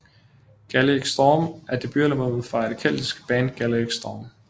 Gaelic Storm er debutalbummet fra det keltiske band Gaelic Storm